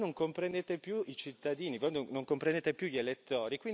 Perché voi non comprendete più i cittadini, non comprendete più gli elettori.